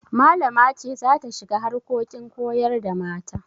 Malama ce za ta shiga harkokin koyar da mata.